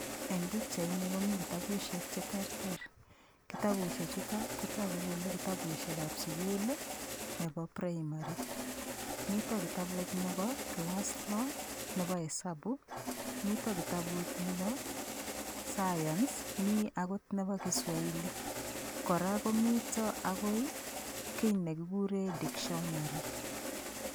Eng' pikchaini komi kitabushek cheterter kitabushe chuto kotoku kole kitabushekab sukul nebo primary mito kitabut nebo kilas loo nebo hesabu mito kitabut nebo science mi akot nebo Kiswahili kora komito akoi kii nekikure dictionary